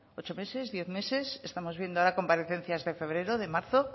ocho meses diez meses estamos viendo ahora comparecencias de febrero de marzo